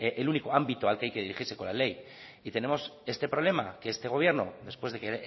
el único ámbito al que hay que dirigirse con la ley y tenemos este problema que este gobierno después de que en